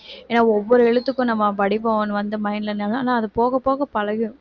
ஏன்னா ஒவ்வொரு எழுத்துக்கும் நம்ம வடிவம் ஒண்ணு வந்து mind ல ஆனா அது போக போக பழகிரும்